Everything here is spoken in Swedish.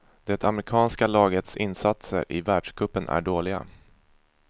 Det amerikanska lagets insatser i världscupen är dåliga.